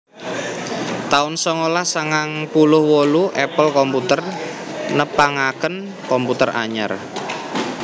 taun songolas sangang puluh wolu Apple Computer nepangaken komputer anyar